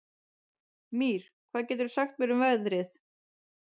Mír, hvað geturðu sagt mér um veðrið?